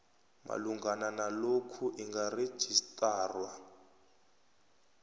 malungana nalokhu ingarejistarwa